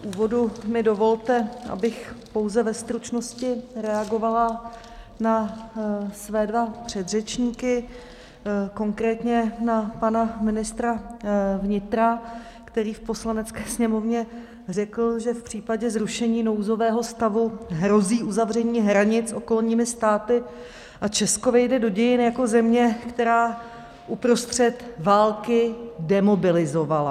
V úvodu mi dovolte, abych pouze ve stručnosti reagovala na své dva předřečníky, konkrétně na pana ministra vnitra, který v Poslanecké sněmovně řekl, že v případě zrušení nouzového stavu hrozí uzavření hranic okolními státy a Česko vejde do dějin jako země, která uprostřed války demobilizovala.